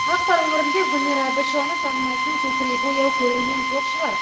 ақтау өңірінде гүлмира әбішеваны танымайтын көкірегі ояу көрермен жоқ шығар